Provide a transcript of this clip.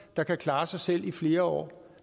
der kan klare sig selv i flere år